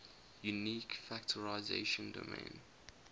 unique factorization domain